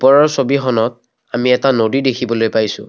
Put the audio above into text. ওপৰৰ ছবিখনত আমি এটা নদী দেখিবলৈ পাইছোঁ।